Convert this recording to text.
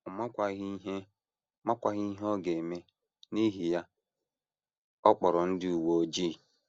Ọ makwaghị ihe makwaghị ihe ọ ga - eme, n’ihi ya ọ kpọrọ ndị uwe ojii.